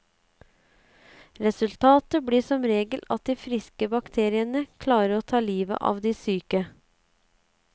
Resultatet blir som regel at de friske bakteriene klarer å ta livet av de syke.